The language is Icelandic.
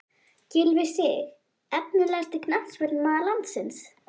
Gylfi Sig Efnilegasti knattspyrnumaður landsins?